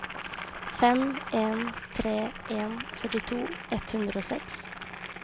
fem en tre en førtito ett hundre og seks